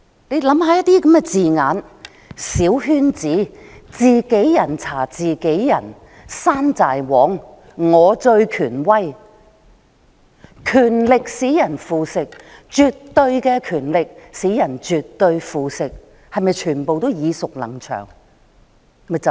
大家試想想那些字眼："小圈子"、"自己人查自己人"、"山寨王"、"我最權威"，"權力使人腐蝕，絕對的權力使人絕對腐蝕"，是否全部都耳熟能詳？